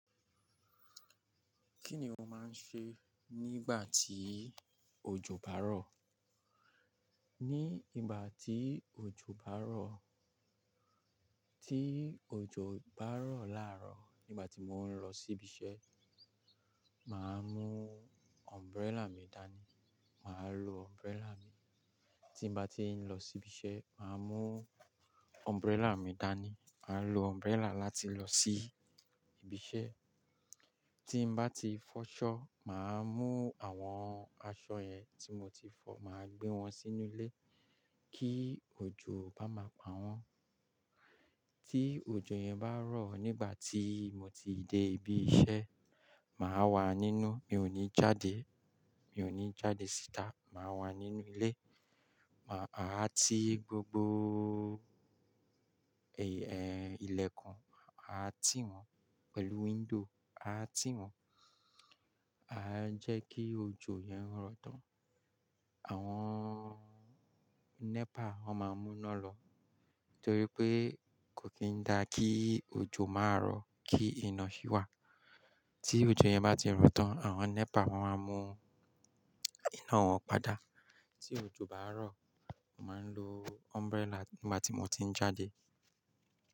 Kí ni o máa ń ṣe nígbà tí òjò bá rọ̀? Ní ìgbà tí òjò bá rọ̀, tí òjò bá rọ̀ láàárọ̀, nígbà tí mò ń lọ sí ibi iṣẹ́, màá mú umbrella mi dání. Màá lo umbrella mi. Tí mo bá ti ń lọ sí ibi iṣẹ́, màá mú umbrella mi dání. Màá lo umbrella láti lọ sí ibi iṣẹ́. Tí mo bá ti fọ́ ṣọ́, màá mú àwọn aṣọ ẹ ti mo ti fọ, màá gbé wọn sínú ilé kí òjò bá má pa wọ́n. Tí òjò yẹn bá rọ̀ nígbà tí mo ti dé ibi iṣẹ́, màá wà nínú, mi ò ní jáde. Mi ò ní jáde síta, màá wà nínú ilé. Màá, a há tí gbogbo ẹ̀, ẹ́, ilẹ̀ kan, a há tì wọ́n pẹ̀lú window, a há tì wọ́n. A há jẹ́ kí òjò yẹn rọ̀ tán. Àwọn NEPA wọn máa mú iná lọ torí pé kò kí ń dá kí òjò má rọ̀ kí iná sì wà. Tí òjò yẹn bá ti rọ̀ tán, àwọn NEPA wọn máa mú iná wọn padà. Tí òjò bá rọ̀, màá ń lo umbrella nígbà tí mo ti ń jáde.